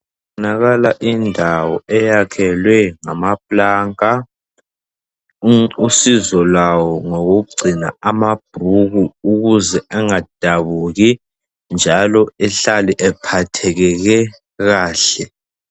Kubonakala indawo eyakhelwe ngamaplanka, usizolawo ngokokugcina amabhuku ukuze engadabuki njalo ehlale ephatheke kahle.